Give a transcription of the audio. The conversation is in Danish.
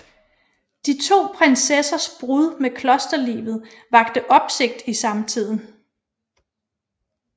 De to prinsessers brud med klosterlivet vakte opsigt i samtiden